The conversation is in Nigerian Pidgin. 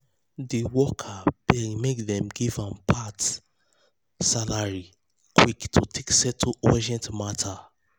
di worker beg make dem give am part give am part salary quick to take settle urgent matter.